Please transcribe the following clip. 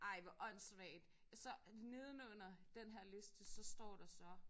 Ej hvor åndssvagt så nedenunder den her liste så står der så